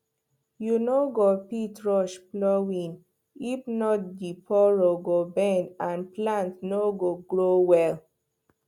you no fit rush plowing if not the furrow go bend and plant no go grow well